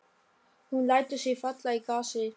Hún lætur sig falla í grasið.